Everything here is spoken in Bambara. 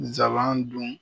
Nsaban dun